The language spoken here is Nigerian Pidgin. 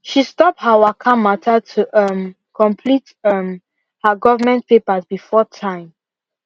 she stop her waka matter to um complete um her government papers before time